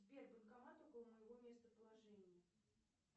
сбер банкомат около моего местоположения